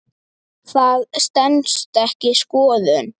Það stenst ekki skoðun.